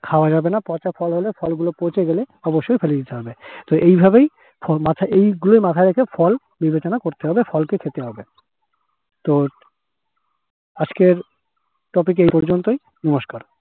খাওয়া যাবে না পচা ফল হলে ফল গুলো পচে গেলে অবশ্যই ফেলে দিতে হবে। তো এইভাবেই মাথায় এইগুলোই মাথায় রেখে ফল বিবেচনা করতে হবে ফলকে খেতে হবে। তো আজকের topic এই পর্যন্তই। নমস্কার।